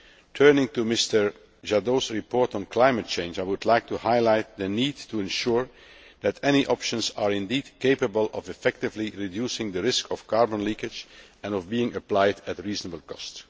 Turning to Mr Jadot's report on climate change, I would like to highlight the need to ensure that any options are indeed capable of effectively reducing the risk of carbon leakage and of being applied at reasonable cost.